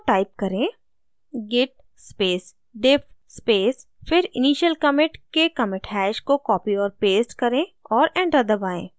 तो type करें: git space diff space फिर initial commit के commit hash को copy और paste करें और enter दबाएँ